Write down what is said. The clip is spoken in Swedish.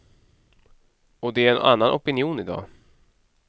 Och det är en annan opinion i dag.